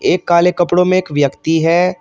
एक काले कपड़ों में एक व्यक्ति है।